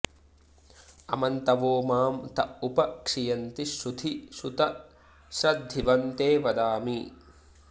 अ॒म॒न्तवो॒ मां त उप॑ क्षियन्ति श्रु॒धि श्रु॑त श्रद्धि॒वं ते॑ वदामि